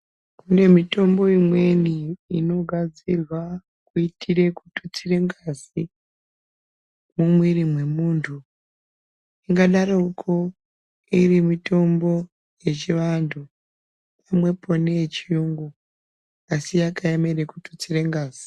Kune mitombo imweni inogadzirwa kuyitire kututsira ngazi mumwiri mwemuntu, kungadaroko iri mitombo yechivantu, pamwepo neyechiyungu, asi yakaemere kututsira ngazi.